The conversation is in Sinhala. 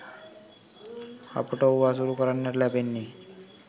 අපට ඔහු ඇසුරු කරන්නට ලැබෙන්නෙ